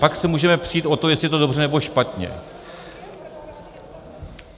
Pak se můžeme přít o to, jestli je to dobře, nebo špatně.